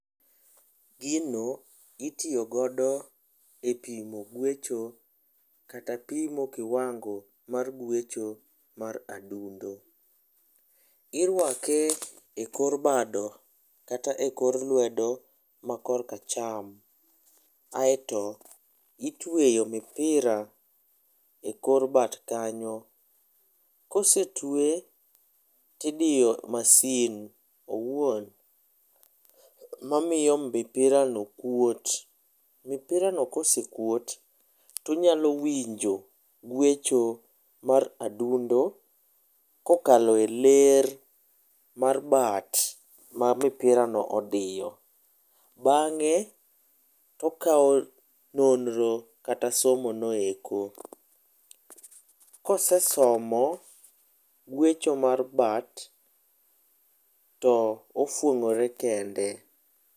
Gino itiyo godo e pimo gwecho kata pimo kiwango mar gwecho mar adundo. Irwake e kor bado kata e kor lwedo ma kor kacham. Aeto itweyo mipira e kor bat kanyo. Kose twe tidiyo masin owuon mamiyo mipira no kuot. Mipira no kosekuot tonyalo winjo gwecho mar adundo kokalo e ler mar bat ma mipira no odiyo. Bang'e to okaw nonro kata somo no eko. Kosesomo gwecho mar bat to ofwong'ore kende.